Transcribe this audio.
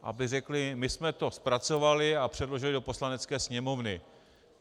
Aby řekli: my jsme to zpracovali a předložili do Poslanecké sněmovny.